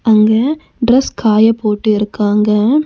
அங்க டிரஸ் காய போட்டிருக்காங்க.